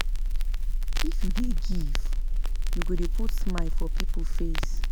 If you dey give, you go dey put smile for pipo face.